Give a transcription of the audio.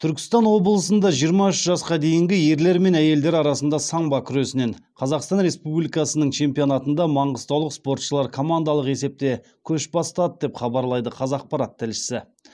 түркістан облысында жиырма үш жасқа дейінгі ерлер мен әйелдер арасында самбо күресінен қазақстан республикасының чемпионатында маңғыстаулық спортшылар командалық есепте көш бастады деп хабарлайды қазақпарат тілшісі